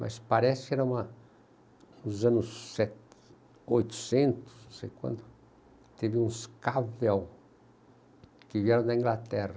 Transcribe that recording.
Mas parece que era uma nos anos oitocentos, não sei quando, teve uns cavos que vieram da Inglaterra.